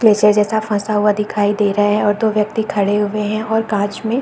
जैसे जैसा फंसा हुआ दिखाई दे रहा है और दो व्यक्ति खड़े हुए हैं और कांच में --